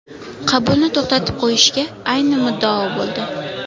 Qabulni to‘xtatib qo‘yishga ayni muddao bo‘ldi.